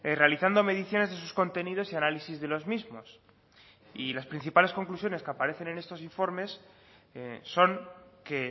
realizando mediciones de sus contenidos y análisis de los mismos y las principales conclusiones que aparecen en estos informes son que